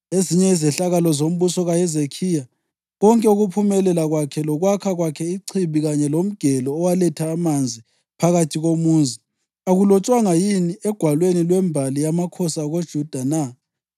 Ezinye izehlakalo zombuso kaHezekhiya, konke ukuphumelela kwakhe lokwakha kwakhe ichibi kanye lomgelo owaletha amanzi phakathi komuzi, akulotshwanga yini egwalweni lwembali yamakhosi akoJuda na?